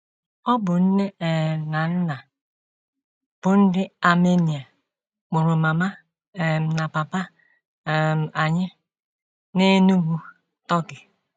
ỌBỤ nne um na nna bụ́ ndị Armenia mụrụ mama um na papa um anyị na Enugu, Turkey.